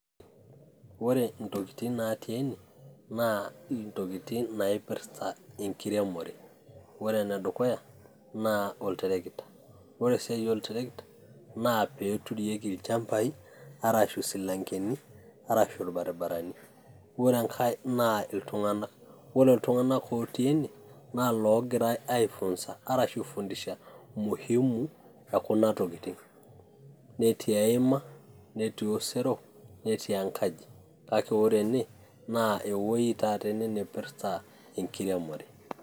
Ore intokiting' natii ene, naa intokiting' naipirta enkiremore. Ore enedukuya, naa oltarakita. Ore esiai oltarakita na pee turieki ilchambai, arashu isilankeni, arashu irbaribarani. Ore enkae naa iltung'anak. Ore iltung'anak otii ene, la logirai aifunza arashu aifundisha muhimu ekuna tokiting'. Netii eima, netii duo osero, netii enkaji. Kake ore ene naa ewoi taata ene naipirta enkiremore.